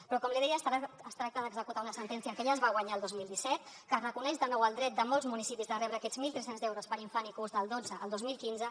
però com li deia es tracta d’executar una sentència que ja es va guanyar el dos mil disset que reconeix de nou el dret de molts municipis de rebre aquests mil tres cents euros per infant i curs del dotze al dos mil quinze